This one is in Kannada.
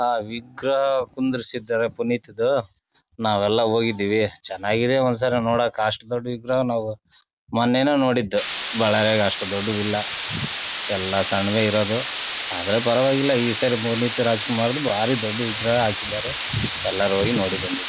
ಅಹ್ ವಿಗ್ ಕುಂದ್ರಿಸಿದ್ದರೆ ಪುನೀತದ್ ನಾವೆಲ್ಲಾ ಹೋಗಿದ್ವಿ ಚನ್ನಾಗಿದೆ ಒಂದ್ ಸಲ ನೋಡಕ್ ಅಷ್ಟ ದೊಡ್ಡ ವಿಗ್ರಹ ನಾವು ಮೊನ್ನೆನೇ ನೋಡಿದ್ದು ಬಳ್ಳಾರಿಯಲ್ಲಿ ಅಷ್ಟು ದೊಡ್ಡವಿಲ್ಲಾ ಎಲ್ಲಾ ಸಣ್ಣವೇ ಇರೋದು ಆದ್ರೆ ಪರವಾಗಿಲ್ಲಾ ಈ ಸರಿ ಪುನೀತ ರಾಜಕುಮಾರದು ಬಾರಿ ದೊಡ್ಡ ವಿಗ್ರಹ ಹಾಕಿದ್ದಾರೆ ಎಲ್ಲಾರು ಹೋಗಿ ನೋಡಿ ಬಂದಿದ್ದೀವಿ.